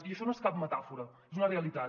i això no és cap metàfora és una realitat